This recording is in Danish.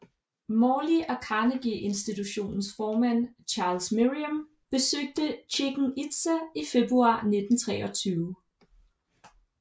Morley og Carnegie Institutions formand Charles Merriam besøgte Chichen Itza i februar 1923